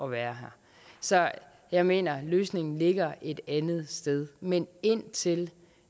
at være her så jeg mener at løsningen ligger et andet sted men indtil